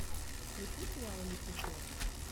включи сериал люцифер